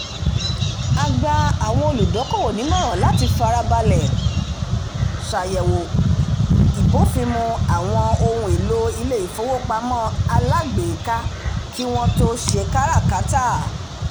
"a gba àwọn olùdókòwò nímọ̀ran láti farabalẹ̀ ṣàyẹ̀wò ìbófinmu àwọn ohun-èlò ilé-ìfowópamọ́ alágbèéká kí wọ́n tó ṣe káràkátà"